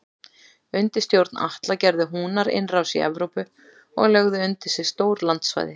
Undir stjórn Atla gerðu Húnar innrás í Evrópu og lögðu undir sig stór landsvæði.